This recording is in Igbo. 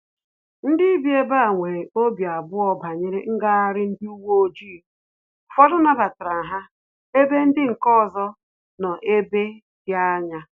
Ndị bi ebe aha nwere obi abụọ banyere ngagharị ndị uwe ojii, ụfọdụ nabatara ha ebe ndị nke ọzọ nọ ebe dị anya